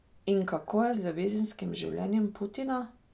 In kako je z ljubezenskim življenjem Putina?